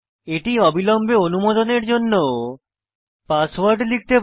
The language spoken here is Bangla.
এটি অবিলম্বে অনুমোদনের জন্য পাসওয়ার্ড লিখতে বলে